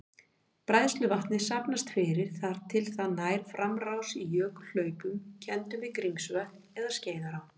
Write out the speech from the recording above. Bræðsluvatnið safnast fyrir þar til það nær framrás í jökulhlaupum kenndum við Grímsvötn eða Skeiðará.